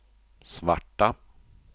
svarta